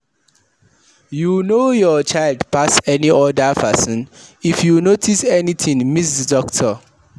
You know your child pass any oda person, if you notice anything meet doctor